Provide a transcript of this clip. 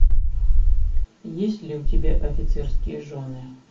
есть ли у тебя офицерские жены